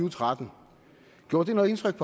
og tretten gjorde det noget indtryk